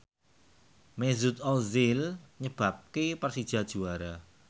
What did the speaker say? Mesut Ozil nyebabke Persija juara